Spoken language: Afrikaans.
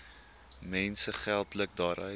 mense geldelik daaruit